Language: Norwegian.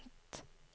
enveis